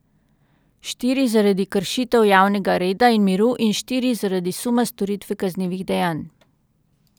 Štiri zaradi kršitev javnega reda in miru in štiri zaradi suma storitve kaznivih dejanj.